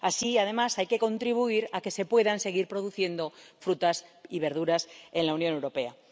Así, además, hay que contribuir a que se puedan seguir produciendo frutas y verduras en la Unión Europea.